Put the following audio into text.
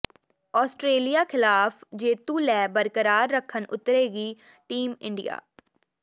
Australia ਿਖ਼ਲਾਫ਼ ਜੇਤੂ ਲੈਅ ਬਰਕਰਾਰ ਰੱਖਣ ਉਤਰੇਗੀ ਟੀਮ ਇੰਡੀਆ